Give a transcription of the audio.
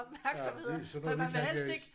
Ja men det sådan noget det kan jeg ikke